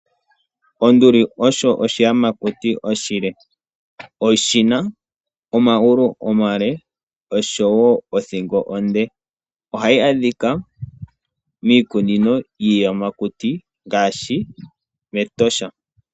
Onduli Osho oshiyamakuti oshile. Oshina omagulu omale oshowoo othingo onde. Ohayi adhika miikununo yiiyamakuti yagamenwa ngaashi mEtosha National Park.